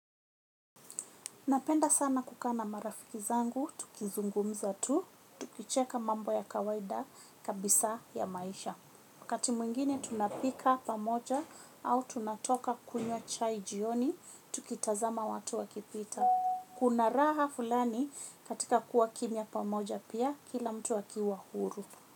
Napenda sana kukaa na marafiki zangu, tukizungumza tu, tukicheka mambo ya kawaida kabisa ya maisha. Kati mwingine tunapika pamoja au tunatoka kunyw chai jioni, tukitazama watu wakipita. Kuna raha fulani katika kuwa kimya pamoja pia kila mtu akiwa huru.